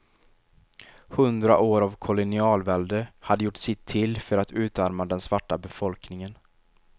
Hundra år av kolonialvälde hade gjort sitt till för att utarma den svarta befolkningen.